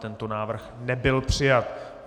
Tento návrh nebyl přijat.